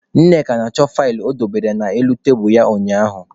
Nneka na-achọ faịlụ o dobere n'elu tebulu ya ụnyaahụ.